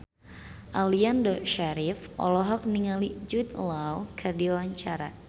Aliando Syarif olohok ningali Jude Law keur diwawancara